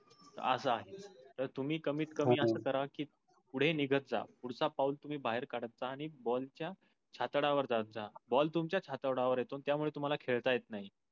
अस आहे. तर तुम्ही कम्मित कमी अस करा कि फुडे निगत जा फुडच पाव तुम्ही बाहीर कडता आणि ball चा छातडा वर जात जा. ball तुमच्या छातडा वर येतो त्या मुळे तुम्हाला खेळता येत नाही.